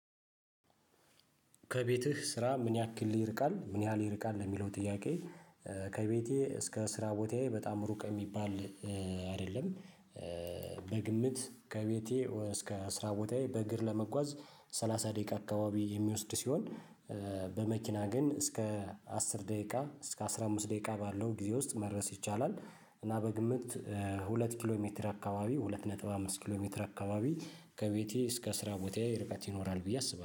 ከቤትህ ስራ ምን ያክል ይርቃል ምን ያህል ይርቃል ለሚለው ጥያቄ? ከቤቴ እስከ አስራ ቦታዬ በጣም ሩቅ የሚባል አይደለም። በግምት ከቤቴ እስከ አስራ ቦታዬ በእግር ለመጓዝ ሰላሳ ደቂቃ አካባቢ የሚወስድ ሲሆን። በመኪና ግን እስከ አስር ደቂቃ እስከ አስራ አምስት ደቂቃ ባለው ጊዜ ውስጥ መድረስ ይቻላል። እና በግምት ሁለት ኪሎ ሜትር አካባቢ ሁለት ነጥብ አምስት ኪሎ ሜትር አካባቢ ከቤቴ እስከ ስራ ቦታዬ ርቀት ይኖራል ብዬ አስባለሁ